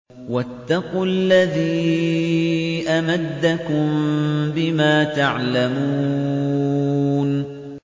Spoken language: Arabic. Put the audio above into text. وَاتَّقُوا الَّذِي أَمَدَّكُم بِمَا تَعْلَمُونَ